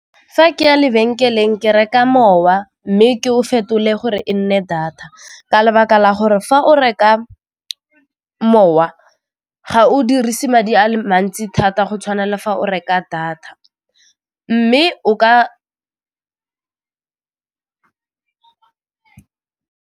Fa ke ya lebenkeleng ke reka mowa mme ke o fetole gore e nne data ka lebaka la gore fa o reka mowa ga o dirise madi a le mantsi thata go tshwana le fa o reka data mme o ka .